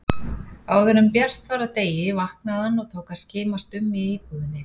Áðuren bjart var af degi vaknaði hann og tók að skimast um í íbúðinni.